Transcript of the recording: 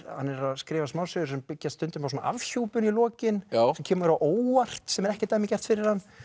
hann er að skrifa smásögur sem byggjast stundum á afhjúpun í lokin sem kemur á óvart sem er ekki dæmigert fyrir hann